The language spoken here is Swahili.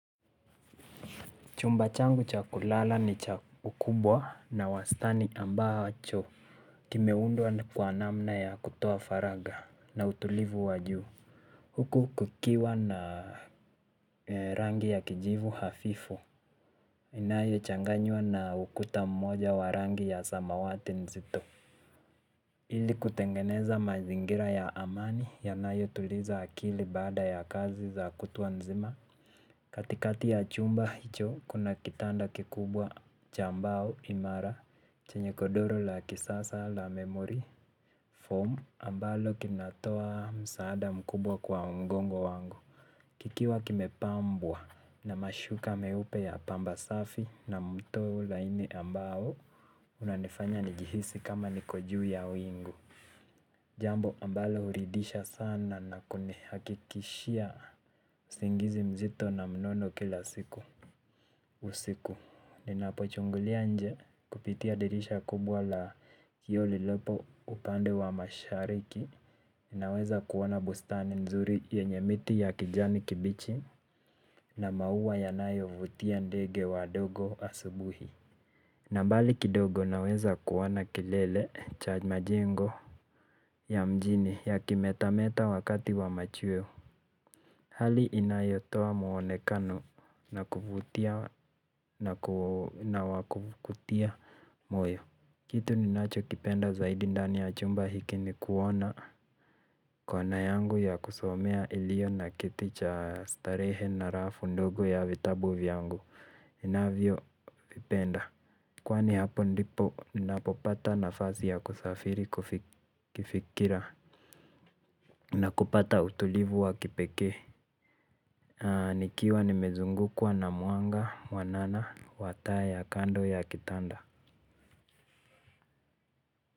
Chumba changu cha kulala ni cha ukubwa na wastani ambao wa choo kimeundwa kwa namna kwa kutoa faraga na utulivu wa juu. Huku kukiwa na rangi ya kijivu hafifu inayochanganywa na ukuta mmoja wa rangi ya samawati mzito. Ili kutengeneza mazingira ya amani yanayotuliza akili baada ya kazi za kutwa nzima. Katikati ya chumba hicho, kuna kitanda kikubwa cha mbao imara, chenye godoro la kisasa la memory, form, ambalo kinatoa msaada mkubwa kwa mgongo wangu. Kikiwa kimepambwa na mashuka meupe ya pamba safi na mtoo laini ambao, unanifanya nijihisi kama niko juu ya wingu. Jambo ambalo huridhisha sana na kunihakikishia usingizi mzito na mnono kila siku. Usiku, ninapochungulia nje kupitia dirisha kubwa la kioo lilopo upande wa mashariki ninaweza kuona bustani nzuri yenye miti ya kijani kibichi na maua yanayovutia ndege wadogo asubuhi na mbali kidogo naweza kuona kelele cha mjengo ya mjini yakimetemeta wakati wa machweo. Hali inayotoa muonekano na kuvutia moyo kitu ninacho kipenda zaidi ndani ya chumba hiki ni kuona. Kona yangu ya kusomea iliyo na kiti cha starehe na rafu ndogo ya vitabu vyangu inavyo kipenda kwani hapo ndipo ninapopata nafasi ya kusafiri kifikira na kupata utulivu wa kipekee. Nikiwa nimezungukwa na mwanga wanana wa taa kando ya kitanda.